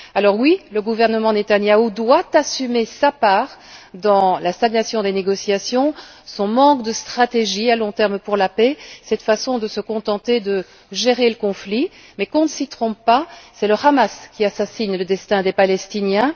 Alors oui, le gouvernement de Netanyahu doit assumer sa part dans la stagnation des négociations, son manque de stratégie à long terme pour la paix, cette façon de se contenter de gérer le conflit. Mais qu'on ne s'y trompe pas, c'est le Hamas qui assassine le destin des Palestiniens.